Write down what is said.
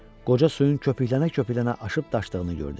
Qoca suyun köpüklənə-köpüklənə aşıb-daşdığını gördü.